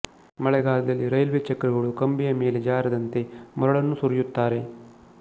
ಮಳೆಗಾಲದಲ್ಲಿ ರೈಲ್ವೆ ಚಕ್ರಗಳು ಕಂಬಿಯ ಮೇಲೆ ಜಾರದಂತೆ ಮರಳನ್ನು ಸುರಿಯುತ್ತಾರೆ